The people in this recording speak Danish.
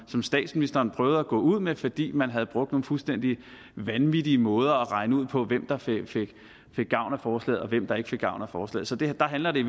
som statsministeren prøvede at gå ud med fordi man havde brugt nogle fuldstændig vanvittige måder at regne ud på hvem der fik gavn af forslaget og hvem der ikke fik gavn af forslaget så der handler det